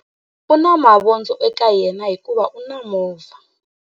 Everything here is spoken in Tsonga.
U na mavondzo eka yena hikuva u na movha.